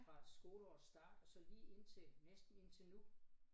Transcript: Fra skoleårets start og så lige indtil næsten indtil nu